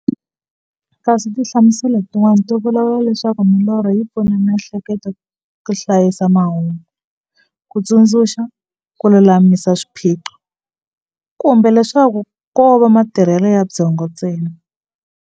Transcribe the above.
Kasi tinhlamuselo ti n'wana ti vula leswaku milorho yi pfuna mi'hleketo ka hlayisa mahungu, kutsundzuka, kululamisa swiphiqo, kumbe leswaku kova matirhele ya byongo ntsena.